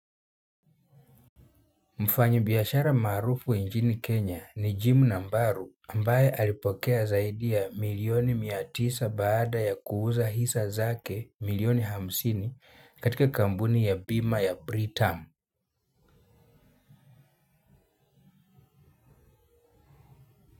Mfanyibiashara maarufu nchini Kenya ni jim nambari ambaye alipokea zaidi ya milioni mia tisa baada ya kuuza hisa zake milioni hamsini katika kambuni ya bima ya Britam.